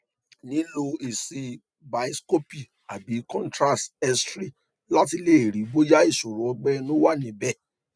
nilo esi bienscopy abi contrast xray lati le ri boya isoro ogbe inu na wa nibe